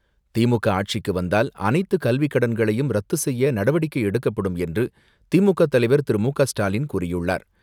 திமுக ஆட்சிக்கு வந்தால் அனைத்து கல்வி கடன்களையும் ரத்து செய்ய நடவடிக்கை எடுக்கப்படும் என்று திமுக தலைவர் திரு மு க ஸ்டாலின் கூறியுள்ளார்.